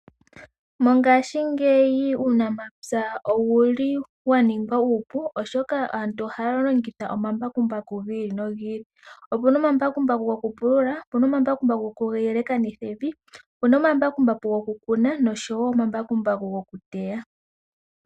Mongashingeyi uunamapya owuli wa ningwa uupu oshoka aantu ohaya longitha omambakumbaku gi ili nogi ili. Opuna omambakumbaku gokupulula, opuna omambakumbaku goku yelekanitha evi , opuna omambakumbaku gokukuna noshowo ombakumbaku gokuteya.